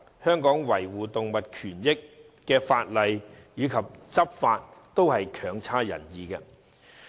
香港維護動物權益的法例及執法，均成效不彰。